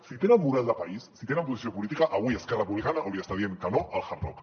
si tenen model de país si tenen posició política avui esquerra republicana hauria d’estar dient que no al hard rock